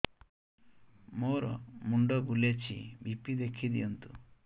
ମୋର ମୁଣ୍ଡ ବୁଲେଛି ବି.ପି ଦେଖି ଦିଅନ୍ତୁ